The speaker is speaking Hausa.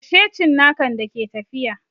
Kashe cinnakan da ke tafiya!